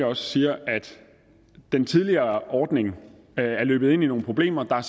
også siger at den tidligere ordning løb ind i nogle problemer der var